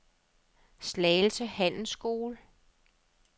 Slagelse Handelsskole